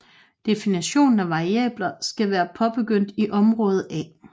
Definition af variabler skal være påbegyndt i område A